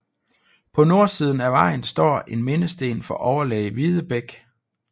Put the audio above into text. På nordsiden af vejen står en mindesten for overlæge Videbech